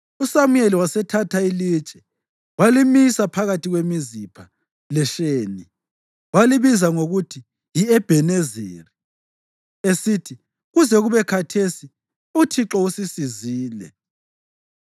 USamuyeli wasethatha ilitshe walimisa phakathi kweMizipha leSheni. Walibiza ngokuthi yi-Ebhenezeri, esithi, “Kuze kube khathesi uThixo usisizile.”